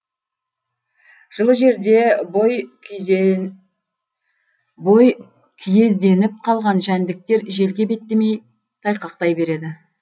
жылы жерде бойкүйезденіп қалған жәндіктер желге беттемей тайқақтай береді